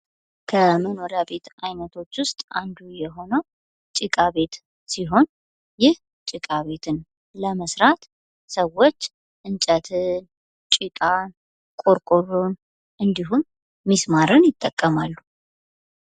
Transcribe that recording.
ከመኖሪያ ቤት ዓይነቶች ውስጥ አንዱ የሆነው ጭቃ ቤት ሲሆን፤ ይህ ጭቃ ቤትን ለመሥራት ሰዎች እንጨትን፣ ጭቃን፣ ቆርቆሮን እንዲሁም ሚስማርና ይጠቀማሉ።